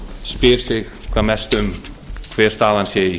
spyr sig hvað mest um hver staðan sé í